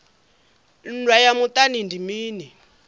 nndwa ya muṱani ndi mini